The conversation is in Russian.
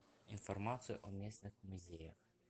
информация о местных музеях